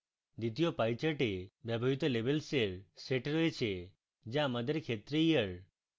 দ্বিতীয় pie chart এ ব্যবহৃত labels এর set রয়েছে the আমাদের ক্ষেত্রে year